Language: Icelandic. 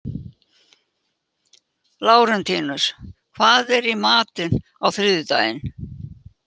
Lárentíus, hvað er í matinn á þriðjudaginn?